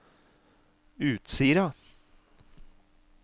Utsira